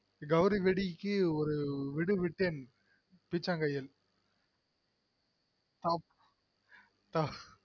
கௌரிவெடிக்கு ஒரு விடு விட்டேன் பீச்சாங் கையில் ஆப் ஆஹ்